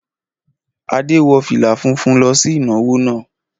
Adé wọ fìlà funfun lọ sí ìnáwó náà.